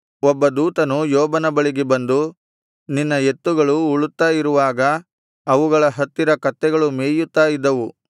ಒಬ್ಬ ದೂತನು ಯೋಬನ ಬಳಿಗೆ ಬಂದು ನಿನ್ನ ಎತ್ತುಗಳು ಉಳುತ್ತಾ ಇರುವಾಗ ಅವುಗಳ ಹತ್ತಿರ ಕತ್ತೆಗಳು ಮೇಯುತ್ತಾ ಇದ್ದವು